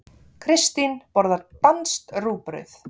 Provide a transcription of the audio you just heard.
Kristín borðar danskt rúgbrauð.